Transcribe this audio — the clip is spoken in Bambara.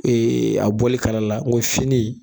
a bɔli kala la ngo fini.